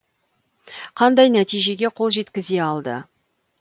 қандай нәтижеге қол жеткісзе алды